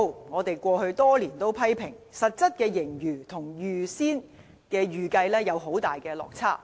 我們過去多年批評，實質盈餘跟原先的預計有很大落差。